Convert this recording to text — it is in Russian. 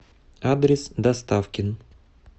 адрес доставкин